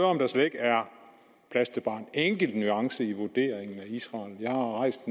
om der slet ikke er plads til bare en enkelt nuance i vurderingen af israel jeg har rejst